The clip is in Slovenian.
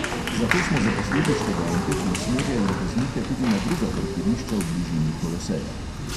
Zato smo zaposlili študente, ki usmerjajo voznike tudi na druga parkirišča v bližini koloseja.